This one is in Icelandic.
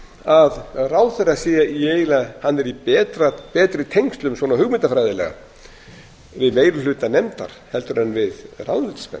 að ráðherra sé í betri tengslum svona hugmyndafræðilega við meiri hluta nefndar en við ráðuneytismenn